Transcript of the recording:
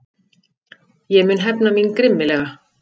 Ég mun hefna mín grimmilega.